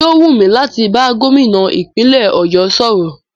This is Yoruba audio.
Yóò wú mí láti bá Gómìnà ìpínlẹ̀ ọ̀yọ́ sọ̀rọ̀.